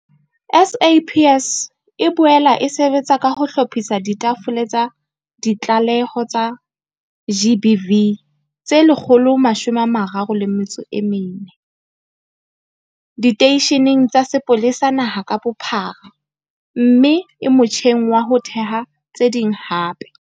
SAPS e boela e sebetsa ka ho hlophisa ditafole tsa ditlaleho tsa GBV tse 134 diteisheneng tsa sepolesa naha ka bophara mme e motjheng wa ho theha tse ding hape.